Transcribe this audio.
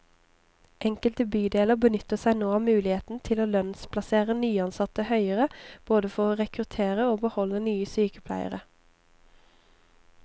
Enkelte bydeler benytter seg nå av muligheten til å lønnsplassere nyansatte høyere, både for å rekruttere og beholde nye sykepleiere.